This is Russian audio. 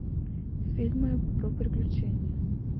фильмы про приключения